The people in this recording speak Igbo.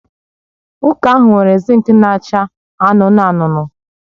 Ụka ahụ nwere zink na-acha anụnụ anụnụ